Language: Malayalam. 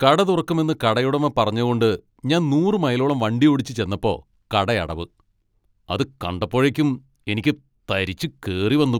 കട തുറക്കുമെന്ന് കടയുടമ പറഞ്ഞ കൊണ്ട് ഞാൻ നൂറ് മൈലോളം വണ്ടിയോടിച്ച് ചെന്നപ്പോ കടയടവ്. അത് കണ്ടപ്പോഴേക്കും എനിക്ക് തരിച്ചു കേറി വന്നു.